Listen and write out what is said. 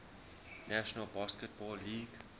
national basketball league